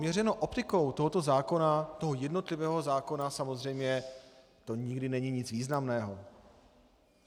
Měřeno optikou tohoto zákona, toho jednotlivého zákona samozřejmě, to nikdy není nic významného.